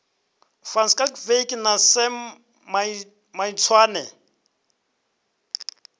van schalkwyk na sam maitswane